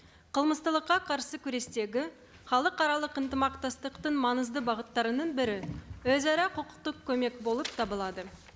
қарсы күрестегі халықаралық ынтымақтастықтың маңызды бағыттарының бірі өзара құқықтық көмек болып табылады